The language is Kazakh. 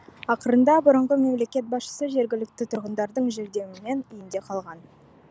ақырында бұрынғы мемлекет басшысы жергілікті тұрғындардың жәрдемімен үйінде қалған